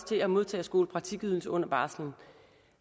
til at modtage skolepraktikydelse under barsel